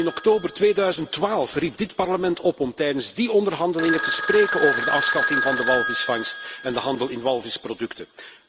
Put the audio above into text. Al in oktober 2012 riep dit Parlement op om tijdens die onderhandelingen te spreken over de afschaffing van de walvisvangst en de handel in walvisproducten.